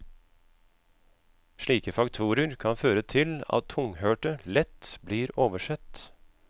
Slike faktorer kan føre til at tunghørte lett blir oversett.